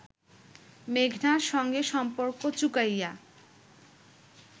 মেঘনার সঙ্গে সম্পর্ক চুকাইয়া